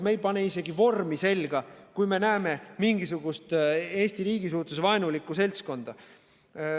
Me ei pane isegi vormi selga, kui me näeme mingisugust Eesti riigi suhtes vaenulikku seltskonda.